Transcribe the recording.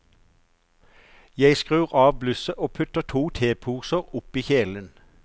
Jeg skrur av blusset og putter to teposer opp i kjelen.